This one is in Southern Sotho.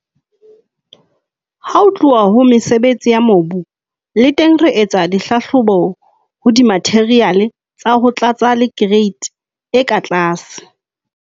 Ha ho tluwa ho mesebetsi ya mobu, le teng re etsa dihlahlobo ho dimatheriale tsa ho tlatsa le kereiti e ka tlase.